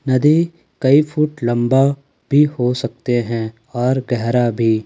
नदी कई फुट लंबा भी हो सकते हैं और गहरा भी।